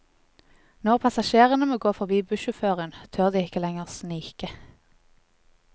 Når passasjerene må gå forbi bussjåføren, tør de ikke lenger snike.